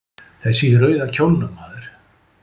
Þessi í rauða kjólnum, maður.